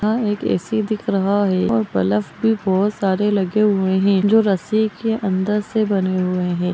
एक gym room है gym जिसमें अगल-बगल दिवारें हैं। एक खिड़कियां लगी हुई हैं। काँच लगी हुई हैं।